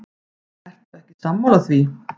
Ertu ekki sammála því?